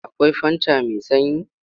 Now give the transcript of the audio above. Akwai fanta mai sanyi?